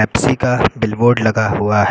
किसी का billboard लगा हुआ है।